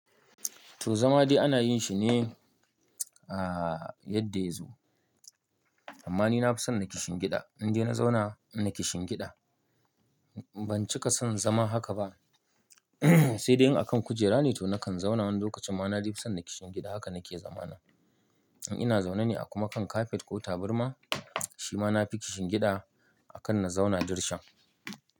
To zama dai ana yin shi ne a yadda ya zo. Amma ni na fi son na kishin gida. In de na zauna, naje shingida. Ban cika son zama haka ba sai dai in a kan kujera ne to na kan zauna wani lokacin. Amma na fi son na kishin gida haka na ke zama na. In ina zaune ne a kuma kan kafet ko taburma, shi ma na fi kishin gida a kan na zauna dirshan.